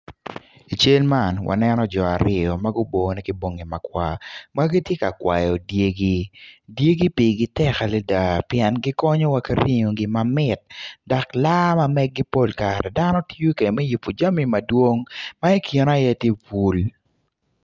I cal man waneno jo aryo ma gubone ki bongi makwar ma gitye ka kwayi dyegi dyegi pigi tek adada pien gikonyowa ki ringogi mamit dok laa ma mgeg-gi pol kare dano tiyo kwede me yubo jami madwong ma ikine aye tye bul